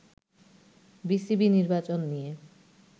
BCB নির্বাচন নিয়ে